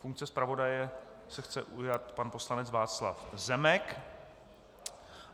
Funkce zpravodaje se chce ujmout pan poslanec Václav Zemek.